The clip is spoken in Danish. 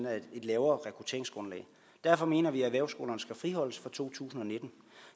er et lavere rekrutteringsgrundlag derfor mener vi at erhvervsskolerne skal friholdes for to tusind og nitten